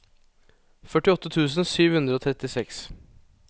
førtiåtte tusen sju hundre og trettiseks